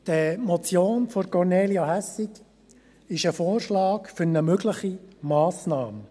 Die Motion von Kornelia Hässig ist ein Vorschlag für eine mögliche Massnahme.